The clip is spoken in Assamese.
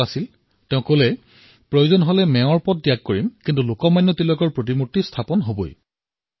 তেওঁ অটল আছিল আৰু কৈছিল যে লাগিলে তেওঁ পদত্যাগ কৰিব কিন্তু লোকমান্য তিলকৰ মূৰ্তি স্থাপন কৰিবই